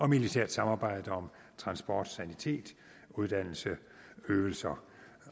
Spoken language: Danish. militært samarbejde om transport sanitet uddannelse øvelser